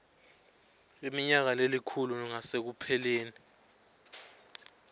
iminyaka lelikhulu ngasekupheleni